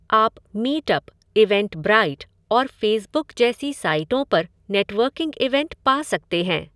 आप Meetup, Eventbrite और Facebook जैसी साइटों पर नेटवर्किंग इवेंट पा सकते हैं।